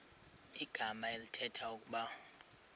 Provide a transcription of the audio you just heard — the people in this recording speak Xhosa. igama elithetha ukuba